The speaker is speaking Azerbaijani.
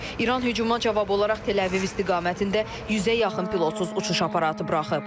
İran hücuma cavab olaraq Təl-Əviv istiqamətində 100-ə yaxın pilotsuz uçuş aparatı buraxıb.